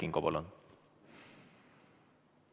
Aitäh!